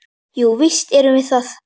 Jú, víst erum við það.